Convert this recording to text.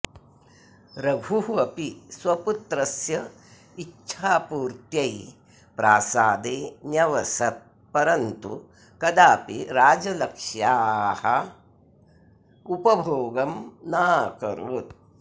रघुः अपि स्वपुत्रस्य इच्छापूर्त्यै प्रासादे न्यवसत् परन्तु कदापि राजलक्ष्याः उपभोगं नाकरोत्